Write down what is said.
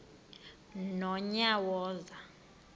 nonyawoza